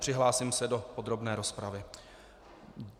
Přihlásím se do podrobné rozpravy.